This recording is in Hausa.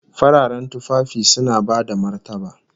Fararen tufafi suna bada martaba